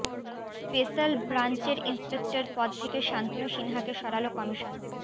special ব্রাঞ্চের inspector পদ থেকে শান্তনু সিনহাকে সরাল কমিশন